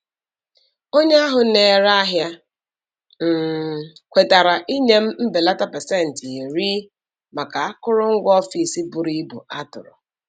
Onye ahụ na-ere ahịa um kwetara inye m mbelata pasentị iri (10%) maka akụrụngwa ọfịs buru ibu a tụrụ.